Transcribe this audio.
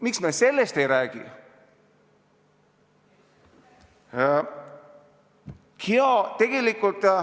Miks me sellest ei räägi?